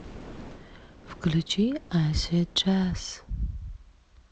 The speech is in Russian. включи асид джаз